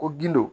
Ko gindo